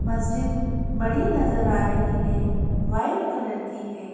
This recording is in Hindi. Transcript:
मस्जिद बड़ी नजर आ रही है व्हाइट कलर की है।